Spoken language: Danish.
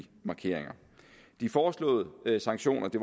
markeringer de foreslåede sanktioner det